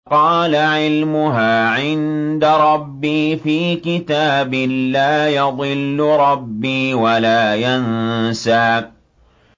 قَالَ عِلْمُهَا عِندَ رَبِّي فِي كِتَابٍ ۖ لَّا يَضِلُّ رَبِّي وَلَا يَنسَى